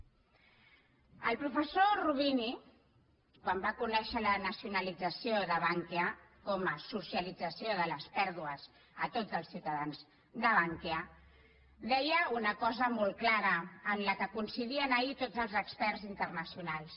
el professor roubini quan va conèixer la nacionalització de bankia com a socialització de les pèrdues a tots els ciutadans de bankia deia una cosa molt clara en la qual coincidien ahir tots els experts internacionals